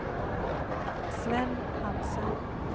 Sven Hansen